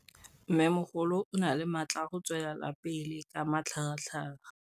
Mmêmogolo o na le matla a go tswelela pele ka matlhagatlhaga.